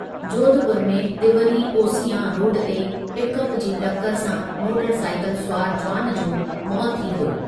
जोधपुर में तिंवरी ओसियां रोड ते पिकअप जी टकरु सां मोटरसाइकिल सुवारु जुवान जो मौति थी वियो ।